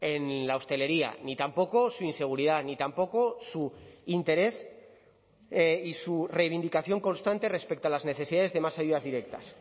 en la hostelería ni tampoco su inseguridad ni tampoco su interés y su reivindicación constante respecto a las necesidades de más ayudas directas